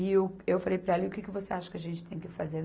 E eu, eu falei para ela, e o que que você acha que a gente tem que fazer?